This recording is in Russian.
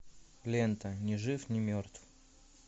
лента ни жив ни мертв